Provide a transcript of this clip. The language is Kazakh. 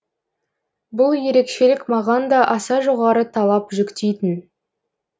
бұл ерекшелік маған да аса жоғары талап жүктейтін